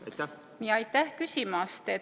Aitäh küsimast!